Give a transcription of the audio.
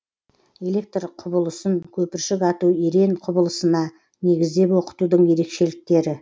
электр құбылысын көпіршік ату ерен құбылысына негіздеп оқытудың ерекшеліктері